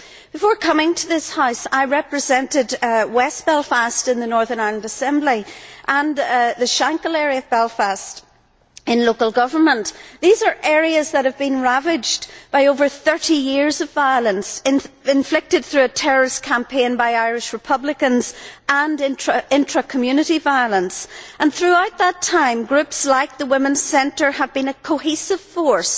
Before coming to this House, I represented West Belfast in the Northern Ireland Assembly and the Shankill area of Belfast in local government. These are areas that have been ravaged by over 30 years of violence inflicted through a terrorist campaign by Irish Republicans and intra community violence. Throughout that time, groups like the Women's Centre have been a cohesive force,